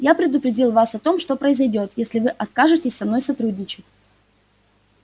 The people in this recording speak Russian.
я предупредил вас о том что произойдёт если вы откажетесь со мной сотрудничать